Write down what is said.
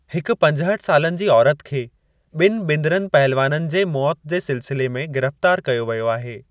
हिक पंजहठि सालनि जी औरत खे बि॒नि बिंदरनि पहलवाननि जे मौत जे सिलसिले में गिरफ़्तार कयो वियो आहे।